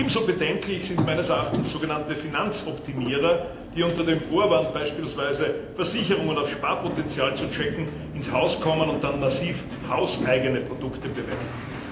Ebenso bedenklich sind meines Erachtens sogenannte Finanzoptimierer, die unter dem Vorwand, beispielsweise Versicherungen auf ihr Sparpotenzial zu checken, ins Haus kommen und dann massiv hauseigene Produkte bewerben.